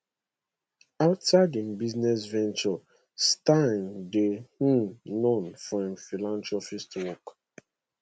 outside im business ventures steyn dey um known for im philanthropy work